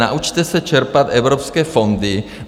Naučte se čerpat evropské fondy.